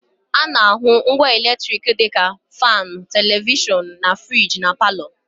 A na-ahụ ngwa eletriki dị ka faanụ, televishọnụ, na friji na palọ